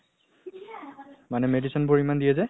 মানে medicine বোৰ ইমান দিয়ে যে